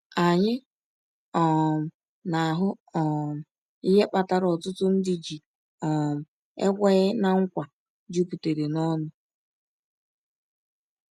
Anyị um na-ahụ um ihe kpatara ọtụtụ ndị ji um ekweghị ná nkwa juputara n’ọṅụ.